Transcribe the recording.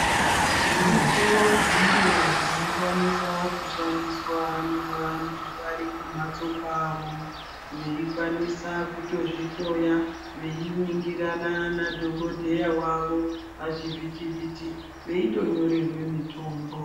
Zviriko zviro zvino kwanisa kushandiswa na vantu vari kumhatso kwavo vei kwanisa kutozvi dhloya vei ningirana na dhokoteya wavo pachi vhiti vhiti veito nyorerwe mitombo.